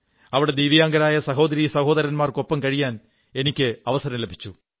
അവിടെ ദിവ്യാംഗരായ സഹോദരീ സഹോദരന്മാർക്കൊപ്പം കഴിയാൻ എനിക്ക് അവസരം ലഭിച്ചു